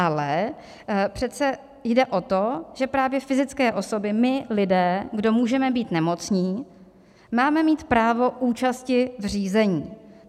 Ale přece jde o to, že právě fyzické osoby, my lidé, kdo můžeme být nemocní, máme mít právo účasti v řízení.